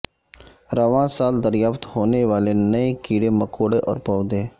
رواں سال دریافت ہونے والے نئے کیڑے مکوڑے اور پودے